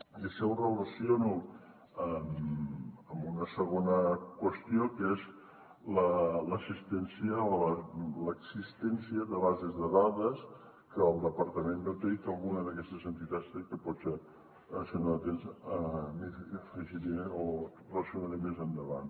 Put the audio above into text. i això ho relaciono amb una segona qüestió que és l’existència de bases de dades que el departament no té i que alguna d’aquestes entitats té i que potser si em dona temps afegiré o relacionaré més endavant